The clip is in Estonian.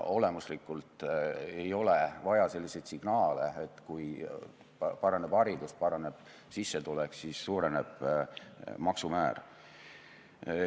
Olemuslikult ei ole vaja selliseid signaale, et kui paraneb haridus, paraneb sissetulek, siis suureneb maksumäär.